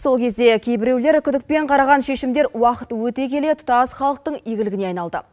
сол кезде кейбіреулер күдікпен қараған шешімдер уақыт өте келе тұтас халықтың игілігіне айналды